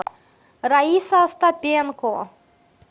раиса остапенко